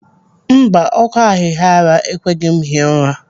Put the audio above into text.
Mba, ọkọ ahihiara ekweghị m hie ụra.